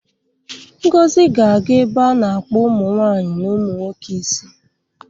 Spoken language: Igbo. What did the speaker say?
Ngozi ga-aga ebe a na-akpụ ụmụ nwanyị na ụmụ nwoke isi